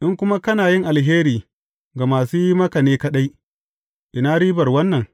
In kuma kana yin alheri ga masu yi maka ne kaɗai, ina ribar wannan?